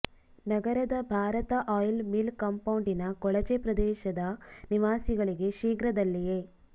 ನಗರದ Bharat oil mill ಕಾಂಪೌಂಡಿನ ಕೊಳಚೆ ಪ್ರದೇಶದ ನಿವಾಸಿಗಳಿಗೆ ಶೀಘ್ರದಲ್ಲಿಯೇ